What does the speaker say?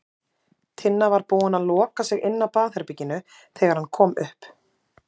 Tinna var búin að loka sig inni á baðherberginu þegar hann kom upp.